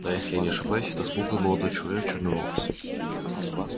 да если я не ошибаюсь это смуглый молодой человек черноволосый